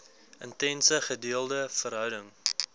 intense gedeelde verhouding